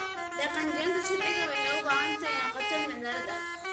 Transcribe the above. Dhaqangelinta sharciga waxay u baahan tahay inay noqoto mid cadaalad ah.